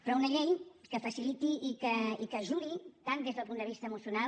però una llei que faciliti i que ajudi tant des del punt de vista emocional